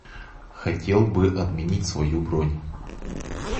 хотел бы отменить свою бронь